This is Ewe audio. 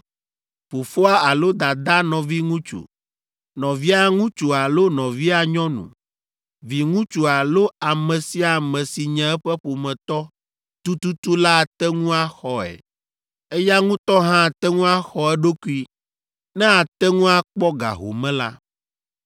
fofoa alo dadaa nɔviŋutsu, nɔvia ŋutsu alo nɔvia nyɔnu, viŋutsu alo ame sia ame si nye eƒe ƒometɔ tututu la ate ŋu axɔe. Eya ŋutɔ hã ate ŋu axɔ eɖokui ne ate ŋu akpɔ ga home la.